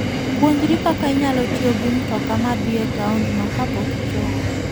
Puonjri kaka inyalo tiyo gi mtoka ma dhi e taondno kapok ichopo.